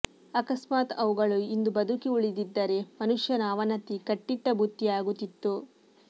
ಅಕಸ್ಮಾತ್ ಅವುಗಳು ಇಂದು ಬದುಕಿ ಉಳಿದಿದ್ದರೆ ಮನುಷ್ಯನ ಅವನತಿ ಕಟ್ಟಿಟ್ಟ ಬುತ್ತಿಯಾಗುತ್ತಿತ್ತು